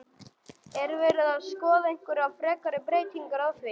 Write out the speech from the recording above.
Er verið að skoða einhverjar frekari breytingar á því?